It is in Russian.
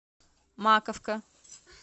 маковка